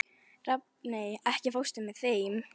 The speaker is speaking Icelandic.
Rafney, ekki fórstu með þeim?